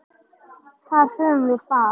Þar höfum við það.